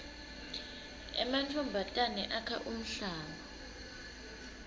emantfombatane akha umhlanga